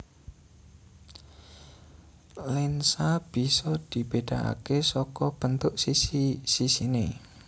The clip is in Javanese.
Lensa bisa dibedakake saka bentuk sisi sisine